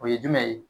O ye jumɛn ye